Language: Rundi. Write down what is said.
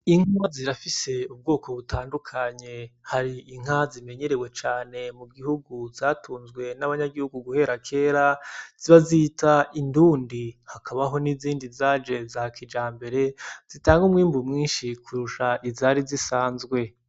Inka zirafise ubwoko butandukanye, hari inka zimenyerewe cane mu gihugu zatunzwe n'abanyagihugu guhera kera izo bazita indundi, hakabaho nizindi zaje za kijambere zitanga umwimbu mwinshi kurusha izari zisanzwe.